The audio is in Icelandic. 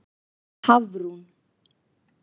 Hafrún